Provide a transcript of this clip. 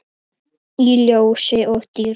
Í ljósi og dýrð.